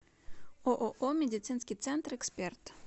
ооо медицинский центр эксперт